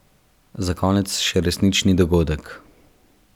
Za konec še resnični dogodek.